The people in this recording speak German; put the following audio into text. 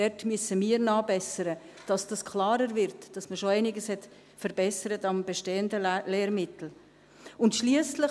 Dort müssen wir nachbessern, damit klarer wird, dass man schon einiges am bestehenden Lehrmittel verbessert hat.